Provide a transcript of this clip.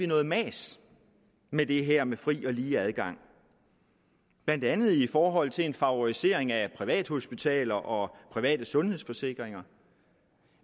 noget mas med det her med fri og lige adgang blandt andet i forhold til en favorisering af privathospitaler og private sundhedsforsikringer